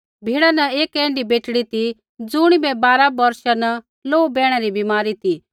भीड़ा न एक ऐण्ढी बेटड़ी ती ज़ुणिबै बारा बौर्षा न लोहू बैंहणै री बीमारी ती